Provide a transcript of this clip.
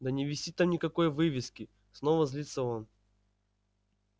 да не висит там никакой вывески снова злится он